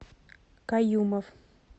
каюмов